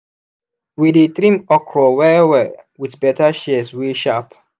we dey trim okra well-well with better shears wey sharp.